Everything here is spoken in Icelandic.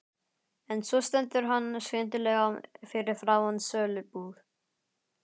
En svo stendur hann skyndilega fyrir framan sölubúð